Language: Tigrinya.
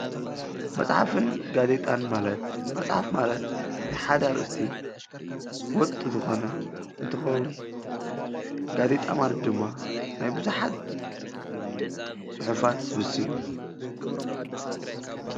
መፅሓፍን ጋዜጣን ማለት መፅሓፍን ማለት ናይ ሓደ እርእስቲ ወጥ እንትኸውን ጋዜጣ ማለት ድማ ናይ ቡዙሓት ፅሑፋት ሰብስብ እዪ።